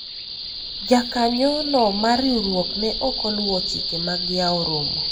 jakanyo no mar riwruok ne ok oluwo chike mag yawo romo